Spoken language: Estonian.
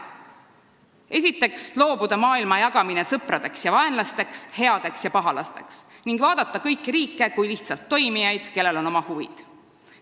Esiteks, loobuda maailma jagamisest sõpradeks ja vaenlasteks, headeks ja pahalasteks ning vaadata kõiki riike kui lihtsalt toimijaid, kellel on oma huvid.